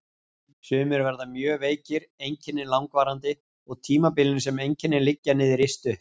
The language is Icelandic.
Sumir verða mjög veikir, einkennin langvarandi og tímabilin sem einkennin liggja niðri stutt.